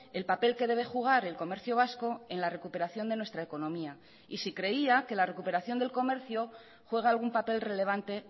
el papel que debe jugar el comercio vasco en la recuperación de nuestra economía y si creía que la recuperación del comercio juega algún papel relevante